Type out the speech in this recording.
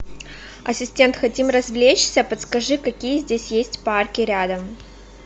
ассистент хотим развлечься подскажи какие здесь есть парки рядом